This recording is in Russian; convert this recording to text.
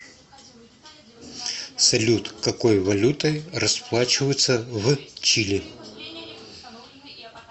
салют какой валютой расплачиваются в чили